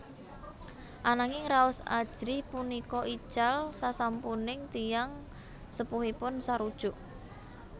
Ananging raos ajrih punika ical sasampuning tiyang sepuhipun sarujuk